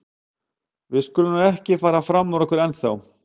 En við skulum nú ekki fara fram úr okkur ennþá.